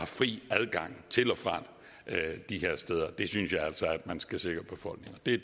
fri adgang til og fra de her steder der synes jeg altså at man skal sikre befolkningen det